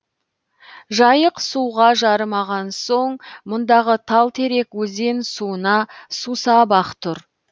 жайық суға жарымаған соң мұндағы тал терек өзен суына сусап ақ тұр